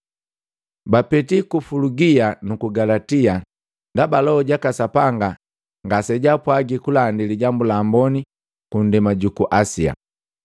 Bapeti ku Fulugia nuku Galatia ndaba Loho jaka Sapanga ngase jaapwagi kulandi Lijambu la Amboni ku ndema juku Asia.